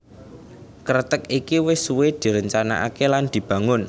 Kreteg iki wis suwé direncanakaké lan dibangun